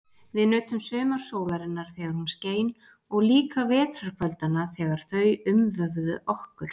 Við nutum sumarsólarinnar þegar hún skein og líka vetrarkvöldanna þegar þau umvöfðu okkur.